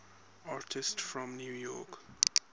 artists from new york